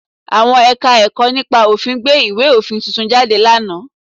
Àwọn Ẹ̀ka-ẹ̀kọ́ nípa òfin gbé ìwé òfin tuntun jáde lánàá